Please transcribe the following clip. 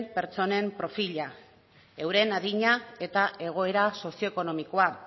pertsonen perfila euren adina eta egoera sozio ekonomikoa